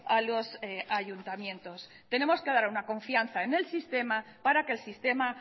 a los ayuntamientos tenemos que dar una confianza en el sistema para que el sistema